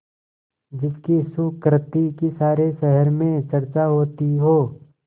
जिसकी सुकृति की सारे शहर में चर्चा होती हो